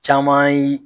Caman ye